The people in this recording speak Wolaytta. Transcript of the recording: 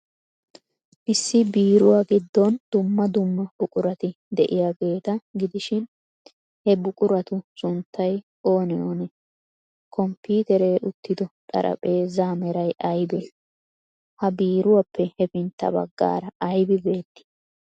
Issi biiruwa giddon dumma dumma buqurati de'iyaageeta gidishin, he buquratu sunttay oonee oonee? Komppiiteeree uttido xaraphpheezzaa meray aybee? Ha biiruwaappe hefintta baggaara aybi beettii?